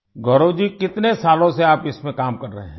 गौरव जी कितने सालों से आप इसमें काम कर रहे हैं